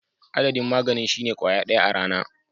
Adadin maganin shine kwaya daya a rana.